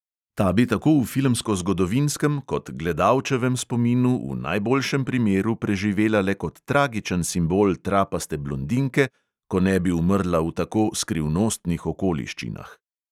Ta bi tako v filmskozgodovinskem kot gledalčevem spominu v najboljšem primeru preživela le kot tragičen simbol trapaste blondinke, ko ne bi umrla v tako skrivnostnih okoliščinah.